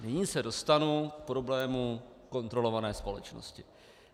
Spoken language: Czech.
Nyní se dostanu k problému kontrolované společnosti.